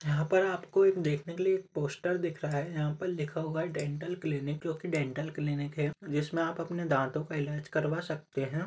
यहा पर आपको देख ने के लिए पोस्टर दिख रहा हैयहा पे लिखा हुआ हैडेंटल क्ल्निक जो एक डेंटल क्ल्निक है जिसमे आप अपने दांतो को इलाज करवा सकते है।